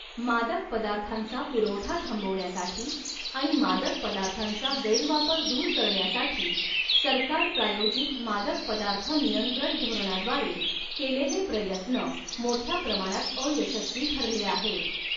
मादक पदार्थांचा पुरवठा थांबवण्यासाठी, आणि मादक पदार्थांचा गैरवापर दूर करण्यासाठी, सरकार प्रायोजित मादक पदार्थ नियंत्रण धोरणाद्वारे केलेले प्रयत्न, मोठ्या प्रमाणात अयशस्वी ठरले आहेत.